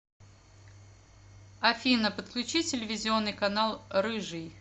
афина подключи телевизионный канал рыжий